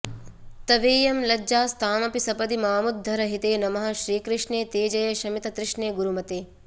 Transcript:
तवेयं लज्जास्तामपि सपदि मामुद्धर हिते नमः श्रीकृष्णे ते जय शमिततृष्णे गुरुमते